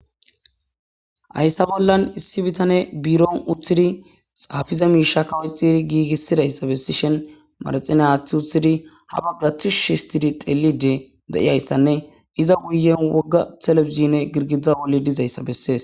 Hayssa bollan issi bittaney biiroon uttidii xaafiza miishshakka giigissidayssa besishin manaxire aaththi uuttidi ha bagga tiishi histidi xellide de'iyayssanne iza guyen wogga telebizhine girgida bolla dizayssa bessees